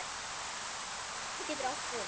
Vaskur getur átt við